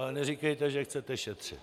Ale neříkejte, že chcete šetřit.